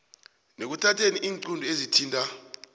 nekuthatheni iinqunto ezithinta